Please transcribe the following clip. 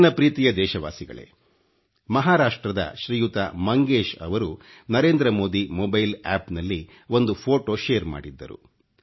ನನ್ನ ಪ್ರೀತಿಯ ದೇಶವಾಸಿಗಳೇ ಮಹಾರಾಷ್ಟ್ರದ ಶ್ರೀಯುತ ಮಂಗೇಶ್ ಅವರು ಓಚಿಡಿeಟಿಜಡಿಚಿ ಒoಜi ಒobiಟe ಂಠಿಠಿ ನಲ್ಲಿ ಒಂದು ಫೋಟೋ ಶೇರ್ ಮಾಡಿದ್ದರು